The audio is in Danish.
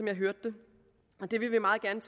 jeg hørte det det vil vi meget gerne